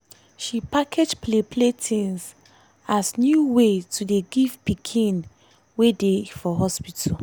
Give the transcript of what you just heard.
she package play play tins as new way to dey give pikins wey dey for hospital.